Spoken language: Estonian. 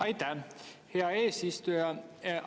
Aitäh, hea eesistuja!